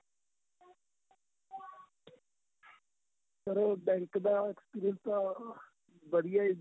ਚੱਲੋ bank ਦਾ experience ਤਾਂ ਵਧੀਆ ਏ ਜੀ